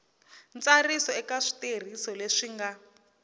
ntsariso eka switirhiso leswi nga